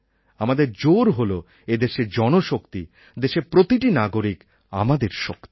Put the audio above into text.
আমাদের জোর হল এদেশের জনশক্তি দেশের প্রতিটি নাগরিক আমাদের শক্তি